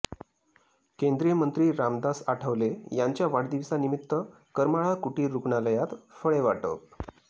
केंद्रीय मंत्री रामदास आठवले यांच्या वाढदिवसानिमित्त करमाळा कुटीर रुग्णालयात फळे वाटप